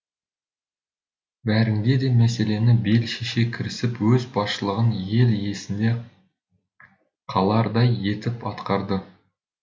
бәрінде де мәселені бел шеше кірісіп өз басшылығын ел есінде қалардай етіп атқарды